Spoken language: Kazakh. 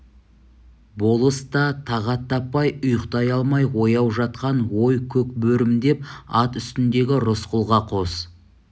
болыс та тағат таппай ұйықтай алмай ояу жатқан ой көк бөрім деп ат үстіндегі рысқұлға қос